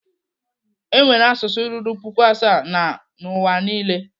Enwere asụsụ ruru puku asaa na N'uwa niile.